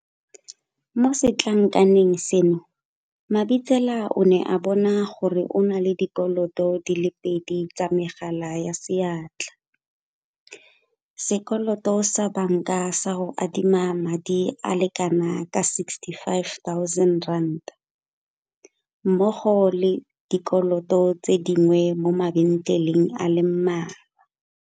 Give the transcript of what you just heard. Mo setlankaneng seno Mabitsela o ne a bona gore o na le dikoloto di le pedi tsa megala ya seatla, sekoloto sa banka sa go adima madi a le kanaka R65 000 mmogo le dikoloto tse dingwe mo mabentleleng a le mmalwa.